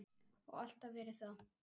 Og alltaf verið það.